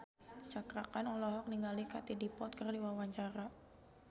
Cakra Khan olohok ningali Katie Dippold keur diwawancara